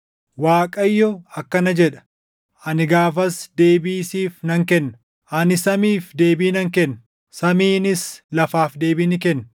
Waaqayyo akkana jedha; “Ani gaafas deebii siif nan kenna; ani samiif deebii nan kenna; samiinis lafaaf deebii ni kenna;